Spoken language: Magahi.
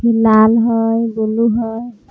लाल हई ब्लू हई।